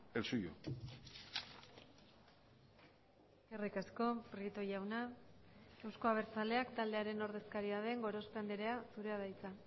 el suyo eskerrik asko prieto jauna euzko abertzaleak taldearen ordezkaria den gorospe andrea zurea da hitza